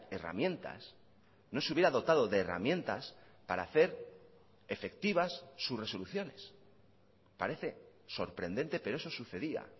herramientas no se hubiera dotado de herramientas para hacer efectivas sus resoluciones parece sorprendente pero eso sucedía